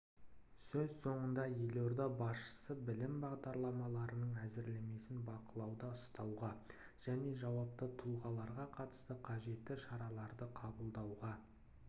сөз соңында елорда басшысы білім бағдарламаларының әзірлемесін бақылауда ұстауға және жауапты тұлғаларға қатысты қажетті шараларды қабылдауға